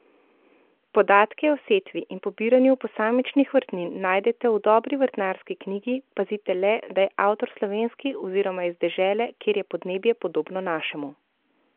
Podatke o setvi in pobiranju posamičnih vrtnini najdete v dobri vrtnarski knjigi, pazite le, da je avtor slovenski oziroma iz dežele, kjer je podnebje podobno našemu.